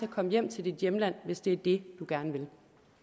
at komme hjem til dit hjemland hvis det er det du gerne vil